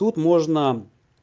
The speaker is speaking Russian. тут можно